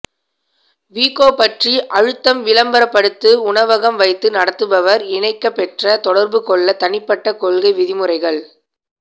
வீகோ பற்றி அழுத்தம் விளம்பரப்படுத்து உணவகம் வைத்து நடத்துபவர் இணைக்கப்பெற்ற தொடர்புகொள்ள தனிப்பட்ட கொள்கை விதிமுறைகள்